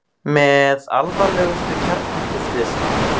Með alvarlegustu kjarnorkuslysum